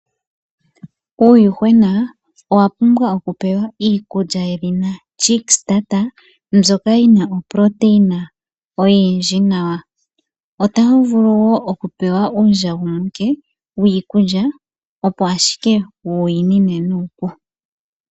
Uuyuhwena owa pumbwa oku pewa iikulya yedhina "chick starter" mbyoka yi na oproteina oyindji nawa. Otawu vulu wo oku pewa uundjagumuke wiikulya, opo ashike wu yi nine nuupu.